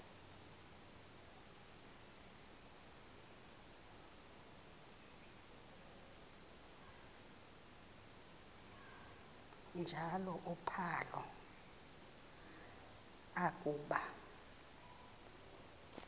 njalo uphalo akuba